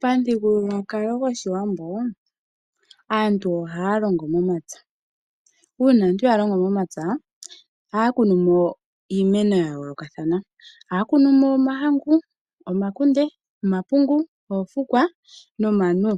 Pamuthigululwakalo gwoshiwambo aantu ohaya longo momapya. Uuna aantu ya longo momapya ohaya kunu mo iimeno yawo ya yoolokathana. Ohaya kunumo omahangu ,omakunde, omapungu, oofukwa nomanuwa